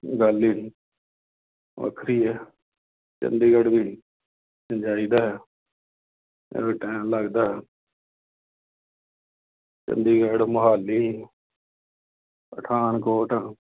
ਗੱਲ ਹੀ ਵੱਖਰੀ ਹੈ। ਚੰਡੀਗੜ੍ਹ ਵੀ ਜਾਈ ਦਾ ਹੈ ਜਦੋਂ time ਲੱਗਦਾ ਚੰਡੀਗੜ੍ਹ, ਮੁਹਾਲੀ ਪਠਾਨਕੋਟ